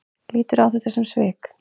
Lítur á þetta sem svik?